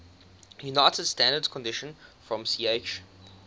under standard conditions from ch